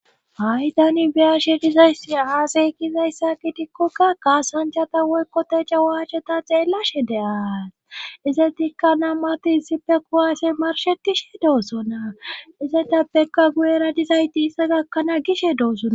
Hay tani biyashe dizayssi aasay kizayssa ki dikkokka kassanchata woykkote ca wascheta xeellashe dea izetikka nammarti hissippe kuwaase marshetishe doossona izeteppekka guyera dizayti issa gakkanaa gishe doosona.